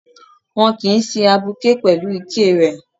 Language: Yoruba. Wọn kìí sin abuké pẹ̀lú iké rẹ̀